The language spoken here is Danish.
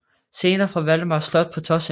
Scener fra Valdemars slot på Tåsinge